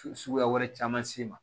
Suguya wɛrɛ camansi ma